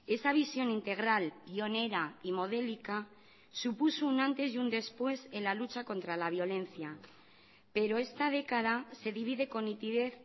esa visión integral pionera y modélica supuso un antes y un después en la lucha contra la violencia pero esta década se divide con nitidez